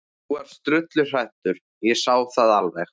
Þú varst drulluhræddur, ég sá það alveg.